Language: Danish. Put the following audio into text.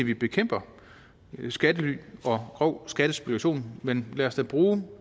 vi bekæmper skattely og grov skattespekulation men lad os da bruge